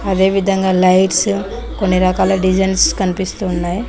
అదే విధంగా లైట్స్ కొన్ని రకాల డిజైన్స్ కనిపిస్తున్నాయి.